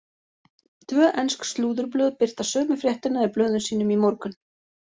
Tvö ensk slúðurblöð birta sömu fréttina í blöðum sínum í morgun.